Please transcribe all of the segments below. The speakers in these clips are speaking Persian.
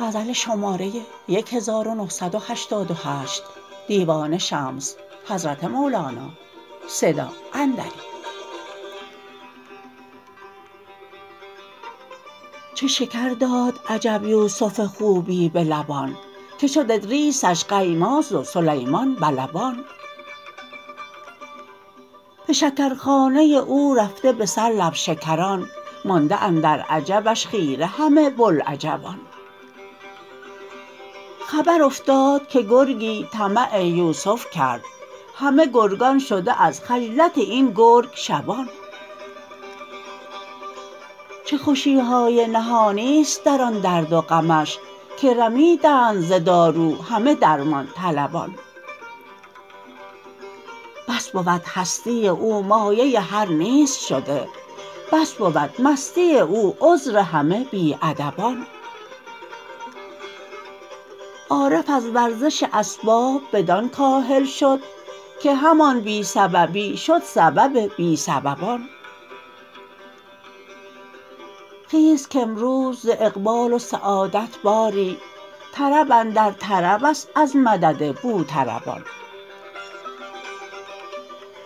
چه شکر داد عجب یوسف خوبی به لبان که شد ادریسش قیماز و سلیمان به لبان به شکرخانه او رفته به سر لب شکران مانده اندر عجبش خیره همه بوالعجبان خبر افتاد که گرگی طمع یوسف کرد همه گرگان شده از خجلت این گرگ شبان چه خوشی های نهان است در آن درد و غمش که رمیدند ز دارو همه درمان طلبان بس بود هستی او مایه هر نیست شده بس بود مستی او عذر همه بی ادبان عارف از ورزش اسباب بدان کاهل شد که همان بی سببی شد سبب بی سببان خیز کامروز ز اقبال و سعادت باری طرب اندر طرب است از مدد بوطربان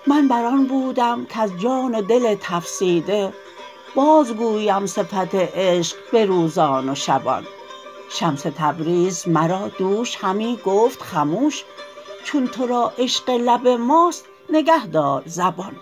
من بر آن بودم کز جان و دل تفسیده بازگویی صفت عشق به روزان و شبان شمس تبریزی مرا دوش همی گفت خموش چون تو را عشق لب ماست نگهدار زبان